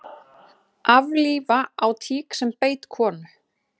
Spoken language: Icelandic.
Aflífa á tík sem beit konu